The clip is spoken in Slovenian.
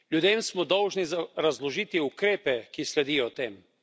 Ljudem smo dolžni razložiti ukrepe, ki sledijo temu.